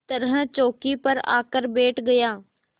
तरह चौकी पर आकर बैठ गया